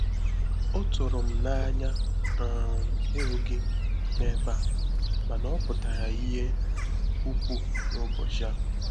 Ọ tụrụ m n’anya um ịhụ gị n’ebe a mana ọ pụtara ihe um ukwuu n’ụbọchị a.